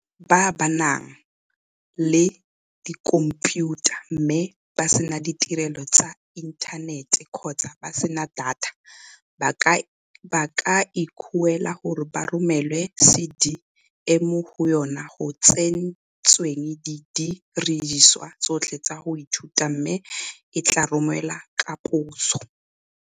Batho ba ba nang le dikhomphiutha mme ba sena ditirelo tsa inthanete kgotsa ba sena data, ba ka ikuela gore ba romelwe CD e mo go yona go tsentsweng didirisiwa tsotlhe tsa go ithuta, mme e tla romelwa ka poso.